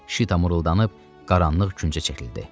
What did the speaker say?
Şita muruldandıb qaranlıq küncə çəkildi.